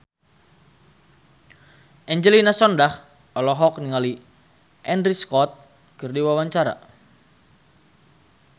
Angelina Sondakh olohok ningali Andrew Scott keur diwawancara